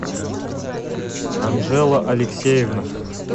анжела алексеевна